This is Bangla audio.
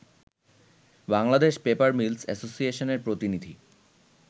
বাংলাদেশ পেপার মিলস অ্যাসোসিয়েশনের প্রতিনিধি